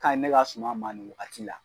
ka ɲi ne ka suma ma ni wagati la.